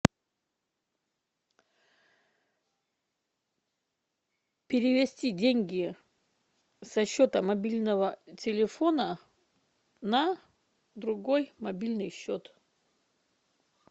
перевести деньги со счета мобильного телефона на другой мобильный счет